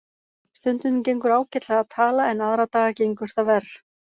Stundum gengur ágætlega að tala en aðra daga gengur það verr.